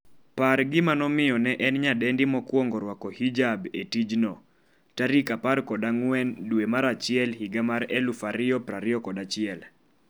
par gima nomiyo ne en nyadendi mokwongo rwako hijab e tijno14 dwe mar achiel higa mar 2021